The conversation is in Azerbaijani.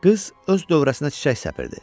Qız öz dövrəsinə çiçək səpirdi.